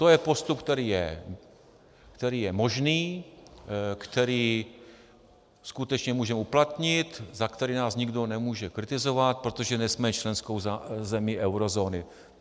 To je postup, který je možný, který skutečně můžeme uplatnit, za který nás nikdo nemůže kritizovat, protože nejsme členskou zemí eurozóny.